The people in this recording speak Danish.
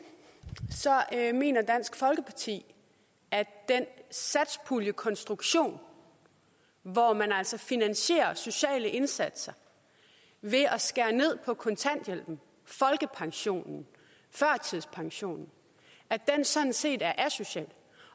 mener dansk folkeparti at den satspuljekonstruktion hvor man altså finansierer sociale indsatser ved at skære ned på kontanthjælpen folkepensionen førtidspensionen sådan set er asocial